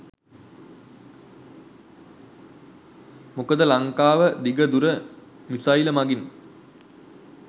මොකද ලංකාව දිග දුර මිසයිල් මගින්